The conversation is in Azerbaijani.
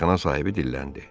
Meyxana sahibi dilləndi.